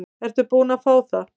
Ertu búin að fá það?